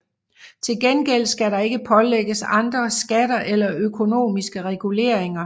Til gengæld skal der ikke pålægges andre skatter eller økonomiske reguleringer